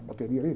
A bateria ali.